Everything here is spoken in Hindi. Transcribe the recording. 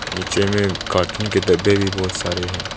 नीचे में कार्टून के डब्बे भी बहोत सारे हैं।